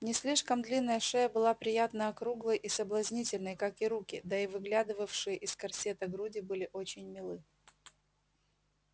не слишком длинная шея была приятно округлой и соблазнительной как и руки да и выглядывавшие из корсета груди были очень милы